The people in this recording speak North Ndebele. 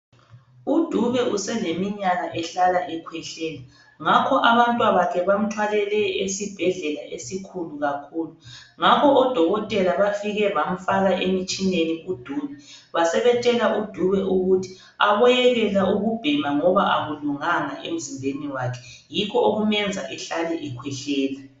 UDube useleminyaka ehlala ekhwehlela ngakho abantwabakhe bamthwalele esibhedlela esikhulu kakhulu ngakho odokotela bafike bamfaka emtshineni uDube basebetshela udube ukuthi aboyekela ukubhema ngoba akulunganga emzimbeni wakhe yikho okumenza ehlale ekhwehlela.